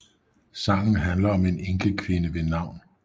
Sangen handler om en enkekvinde ved navn Mrs